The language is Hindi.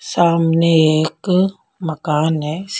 सामने एक मकान है।